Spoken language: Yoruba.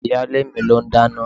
Ìyálé mi ló n dáná.